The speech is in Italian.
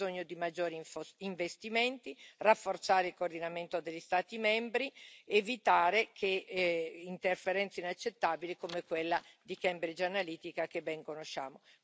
Abbiamo bisogno di maggiori investimenti, di rafforzare il coordinamento degli Stati membri, evitare interferenze inaccettabili come quella di Cambridge Analytica che ben conosciamo.